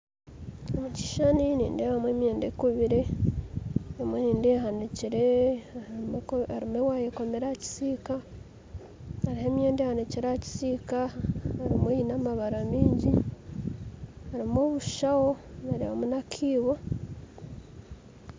Omu kishuushani nindeebamu emyenda ekubire emwe nindeeba ehanikire harimu waaya ekomire aha kisiika harimu emyenda ehanikire aha kisiika arimu aine amabara mingi harimu obushaho nareebamu n'akaibo